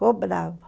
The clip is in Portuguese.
Cobrava.